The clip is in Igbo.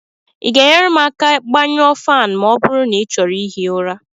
Ị ga-enyere m aka gbanyụọ ​​​​Fan ma ọ bụrụ na ị chọrọ ihi ụra?